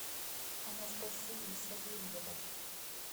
анастасии савельевой